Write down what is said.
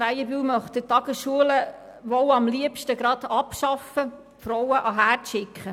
Krähenbühl möchte wohl die Tagesschulen am liebsten abschaffen und die Frauen zurück an den Herd schicken.